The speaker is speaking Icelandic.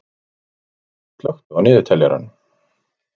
Arnold, slökktu á niðurteljaranum.